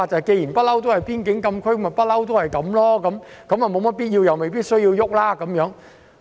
既然那裏一向是邊境禁區，便一直繼續下去，如無必要便不需要改變規劃。